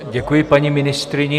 Děkuji paní ministryni.